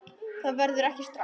Það verður ekki strax